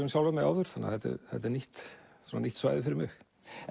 um sjálfan mig áður þetta er þetta er nýtt nýtt svæði fyrir mig